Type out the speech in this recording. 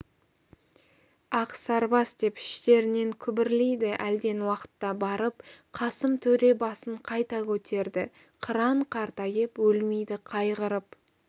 ақсарбас деп іштерінен күбірлейді әлден уақытта барып қасым төре басын қайта көтерді қыран қартайып өлмейді қайғырып